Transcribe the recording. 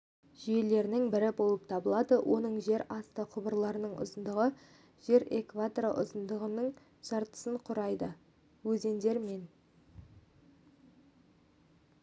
жүйелерінің бірі болып табылады оның жерасты құбырларының ұзындығы жер экваторы ұзындығының жартысын құрайды өзендер мен